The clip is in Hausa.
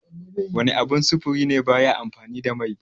Wana abun sufuri ne baya amfani da mai?